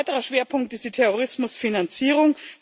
Ein weiterer Schwerpunkt ist die Terrorismusfinanzierung.